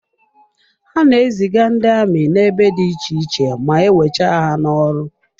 Ha na-eziga ndị amị n'ebe dị iche iche ma e wecha ha n'ọrụ.